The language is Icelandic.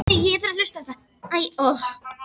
Þér þykir vænt um mig núna.